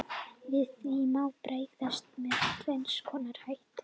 Við því má bregðast með tvenns konar hætti.